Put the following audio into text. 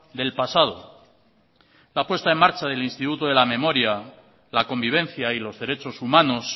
del pasado la puesta en marcha del instituto de la memoria la convivencia y los derechos humanos